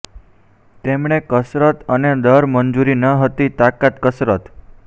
તેમણે કસરત અને દર મંજૂરી ન હતી તાકાત કસરત